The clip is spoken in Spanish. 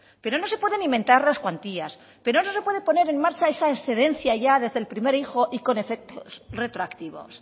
pero no se puede ni mentar las cuantías pero no se puede poner en marcha esa excedencia ya desde el primer hijo y con efectos retroactivos